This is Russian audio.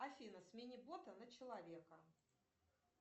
афина смени бота на человека